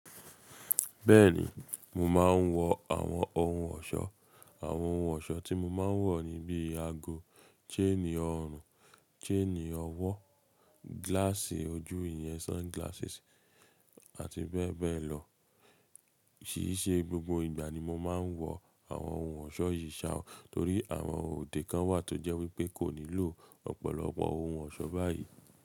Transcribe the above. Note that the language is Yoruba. Bẹ́ẹ̀ni mo máa ń wọ àwọn ohun ọ̀ṣọ́. Àwọn ohun ọ̀ṣọ́ tí mo máa ń wọ̀ ni bí i ago, chain orùn, chain ọwọ́, glass ojú ìyẹn sunglasses àti bẹ́ẹ̀ bẹ́ẹ̀ lọ. Kíse gbogbo ìgbà ni mo máa ń wọ àwọn ohun ọ̀ṣọ́ yìí ṣa, torí àwọn òde kan wà tó jẹ́ wípé kò nílò ọ̀pọ̀lọpọ̀ ohun ọ̀ṣọ́ báyìí.